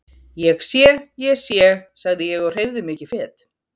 Ég sé, ég sé, sagði ég og hreyfði mig ekki fet.